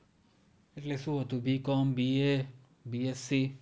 એટલે શું હતું BCOMBABSC